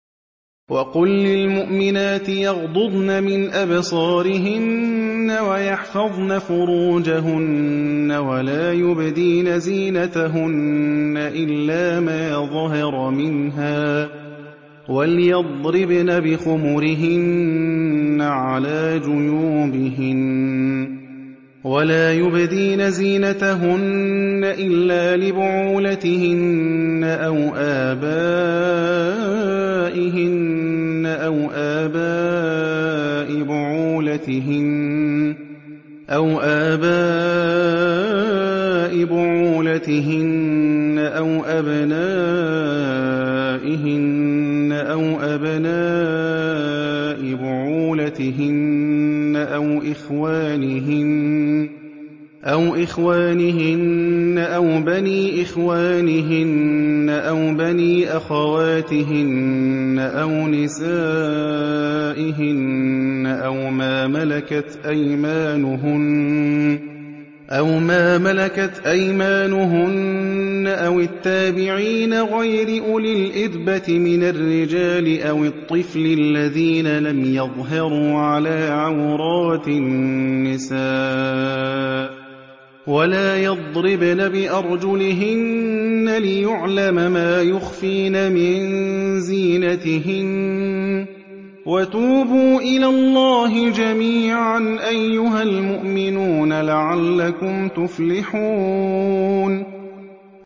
وَقُل لِّلْمُؤْمِنَاتِ يَغْضُضْنَ مِنْ أَبْصَارِهِنَّ وَيَحْفَظْنَ فُرُوجَهُنَّ وَلَا يُبْدِينَ زِينَتَهُنَّ إِلَّا مَا ظَهَرَ مِنْهَا ۖ وَلْيَضْرِبْنَ بِخُمُرِهِنَّ عَلَىٰ جُيُوبِهِنَّ ۖ وَلَا يُبْدِينَ زِينَتَهُنَّ إِلَّا لِبُعُولَتِهِنَّ أَوْ آبَائِهِنَّ أَوْ آبَاءِ بُعُولَتِهِنَّ أَوْ أَبْنَائِهِنَّ أَوْ أَبْنَاءِ بُعُولَتِهِنَّ أَوْ إِخْوَانِهِنَّ أَوْ بَنِي إِخْوَانِهِنَّ أَوْ بَنِي أَخَوَاتِهِنَّ أَوْ نِسَائِهِنَّ أَوْ مَا مَلَكَتْ أَيْمَانُهُنَّ أَوِ التَّابِعِينَ غَيْرِ أُولِي الْإِرْبَةِ مِنَ الرِّجَالِ أَوِ الطِّفْلِ الَّذِينَ لَمْ يَظْهَرُوا عَلَىٰ عَوْرَاتِ النِّسَاءِ ۖ وَلَا يَضْرِبْنَ بِأَرْجُلِهِنَّ لِيُعْلَمَ مَا يُخْفِينَ مِن زِينَتِهِنَّ ۚ وَتُوبُوا إِلَى اللَّهِ جَمِيعًا أَيُّهَ الْمُؤْمِنُونَ لَعَلَّكُمْ تُفْلِحُونَ